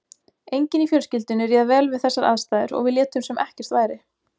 Enginn í fjölskyldunni réð vel við þessar aðstæður og við létum sem ekkert væri.